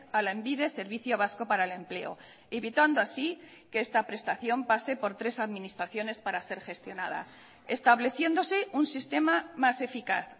a lanbide servicio vasco para el empleo evitando así que esta prestación pase por tres administraciones para ser gestionada estableciéndose un sistema más eficaz